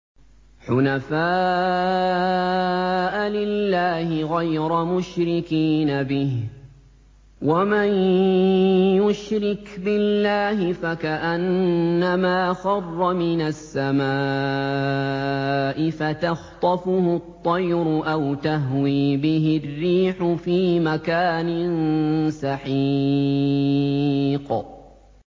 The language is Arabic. حُنَفَاءَ لِلَّهِ غَيْرَ مُشْرِكِينَ بِهِ ۚ وَمَن يُشْرِكْ بِاللَّهِ فَكَأَنَّمَا خَرَّ مِنَ السَّمَاءِ فَتَخْطَفُهُ الطَّيْرُ أَوْ تَهْوِي بِهِ الرِّيحُ فِي مَكَانٍ سَحِيقٍ